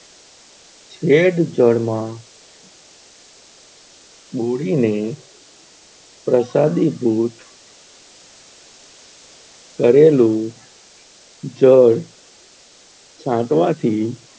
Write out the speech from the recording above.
હેડ જળ માં બોડીને પ્રસાદી ભૂત કરેલું જળ થી છાંટવા થી,